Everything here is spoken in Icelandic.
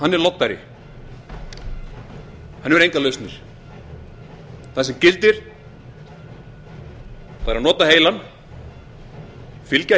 er loddari hann hefur engar lausnir þetta sem gildir er að nota heilann fylgja